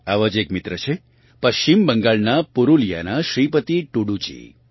આવાં જ એક મિત્ર છે પશ્ચિમ બંગાળનાં પુરુલિયાનાં શ્રીપતિ ટૂડૂજી